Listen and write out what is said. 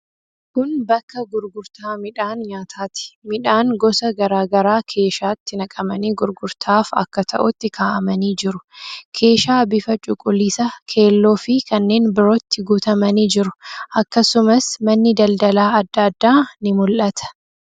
Kun bakka gurgurtaa midhaan nyaataati. Midhaan gosa garaa garaa keeshaatti naqamanii gurgurtaaf akka ta'utti kaa'amanii jiru. Keeshaa bifa cuquliisa, keelloofi kanneen birootti guutamanii jiru. Akkasumas, manni daldalaa adda addaa ni mul'ata.